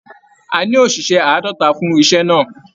A ní oṣiṣẹ àádọta fún iṣẹ náà.